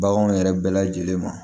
Baganw yɛrɛ bɛɛ lajɛlen ma